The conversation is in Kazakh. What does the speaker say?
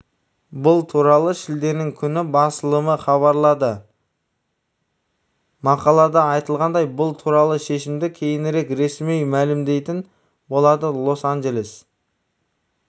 бұл туралы шілденің күні басылымы хабарлады мақалада айтылғандай бұл туралы шешімді кейінірек ресми мәлімдейтін болады лос-анджелес